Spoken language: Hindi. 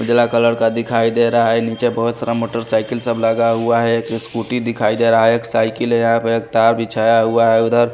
पीला कलर का दिखाई दे रहा है नीचे बहुत सारा मोटरसाइकिल सब लगा हुआ है एक स्कूटी दिखाई दे रहा है एक साइकिल है यहां पर एक तार बिछाया हुआ है उधर।